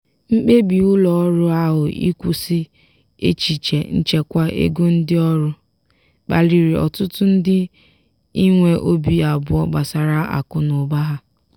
mkpebi ụlọọrụ ahụ ịkwụsị echiche nchekwa ego ndị ọrụ kpaliri ọtụtụ ndị inwee obi abụọ gbasara akụ na ụba ha.